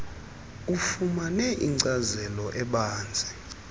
ufumane inkcazelo ebanzi